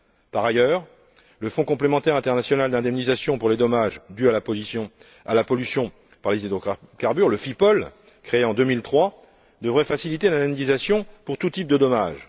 Par ailleurs, le fonds complémentaire international d'indemnisation pour les dommages dus à la pollution par les hydrocarbures, le FIPOL, créé en 2003, devrait faciliter l'indemnisation pour tous types de dommage.